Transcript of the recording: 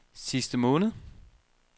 sidste måned